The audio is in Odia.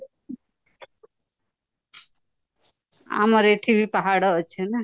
ଆମରାବୀ ଏଠି ବାହାଡା ଅଛି ନା